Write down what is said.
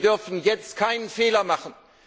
Wir dürfen jetzt keinen Fehler machen.